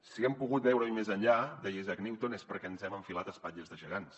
si hem pogut veure hi més enllà deia isaac newton és perquè ens hem enfilat a espatlles de gegants